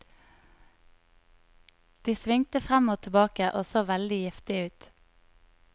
De svingte frem og tilbake og så veldig giftige ut.